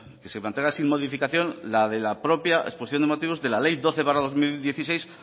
que se mantenga sin modificación la propia exposición de motivos de la ley doce barra dos mil dieciséis